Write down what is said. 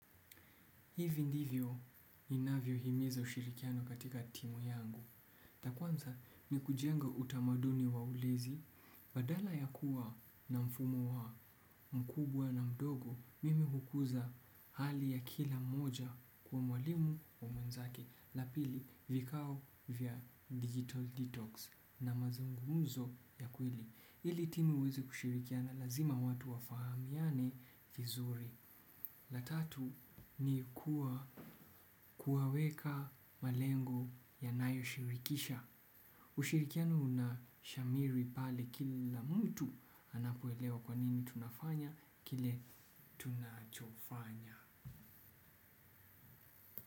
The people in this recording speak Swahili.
Hivi ndivyo ninavyo himiza ushirikiano katika timu yangu. La kwanza ni kujenga utamaduni wa ulinzi. Badala ya kuwa na mfumo wa mkubwa na mdogo, mimi hukuza hali ya kila mmoja kwa mwalimu wa mwenzake. La pili vikao vya digital detox na mazungumzo ya kweli. Ili timu ziweze kushirikiana lazima watu wafahamiane vizuri la tatu ni kuwaweka malengo ya nayo shirikisha ushirikiano unashamiri pale kila mtu anapoelewa kwanini tunafanya kile tunachofanya.